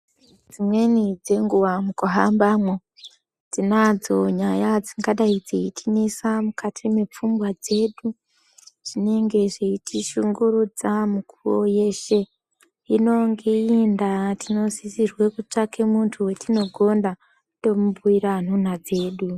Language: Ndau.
Dzimweni dzenguva mukuhambamwo, tinadzo nyaya dzingadai dzeitinetsa mukati mepfungwa dzedu, dzinenge dzeitishungurudza mikuwo yeshe. Hino ngeiyi ndaa tinokone ketsvake muntu wetinogonda, tomubhuyira nhunha dzedu.